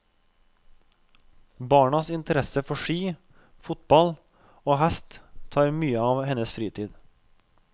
Barnas interesse for ski, fotball og hest tar mye av hennes fritid.